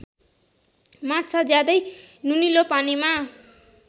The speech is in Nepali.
माछा ज्यादै नुनिलो पानीमा